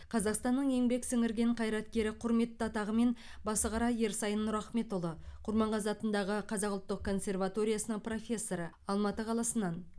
қазақстанның еңбек сіңірген қайраткері құрметті атағымен басықара ерсайын нұрахметұлы құрманғазы атындағы қазақ ұлттық консерваториясының профессоры алматы қаласынан